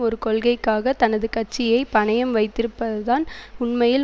ஒரு கொள்கைக்காக தனது கட்சியை பணையம் வைத்திருப்பதுதான் உண்மையில்